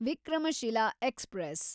Vikramshila express